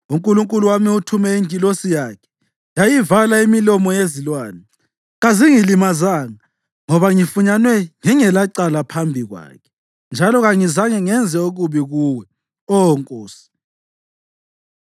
UNkulunkulu wami uthume ingilosi yakhe yayivala imilomo yezilwane. Kazingilimazanga ngoba ngifunyanwe ngingelacala phambi kwakhe. Njalo kangikaze ngenze okubi kuwe, Oh nkosi.”